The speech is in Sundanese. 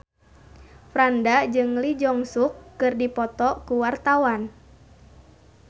Franda jeung Lee Jeong Suk keur dipoto ku wartawan